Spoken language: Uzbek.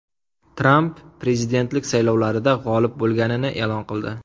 Tramp prezidentlik saylovlarida g‘olib bo‘lganini e’lon qildi.